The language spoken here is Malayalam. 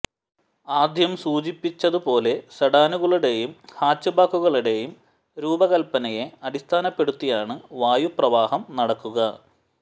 ആദ്യം സൂചിപ്പിച്ചത് പോലെ സെഡാനുകളുടെയും ഹാച്ച്ബാക്കുകളുടെയും രൂപകല്പനയെ അടിസ്ഥാനപ്പെടുത്തിയാണ് വായു പ്രവാഹം നടക്കുക